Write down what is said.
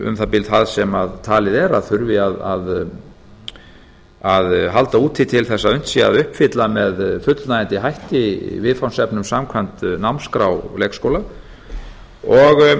um það bil það sem talið er að þurfi að halda úti til þess að unnt sé að uppfylla með fullnægjandi hætti viðfangsefnum samkvæmt námsskrá leikskóla og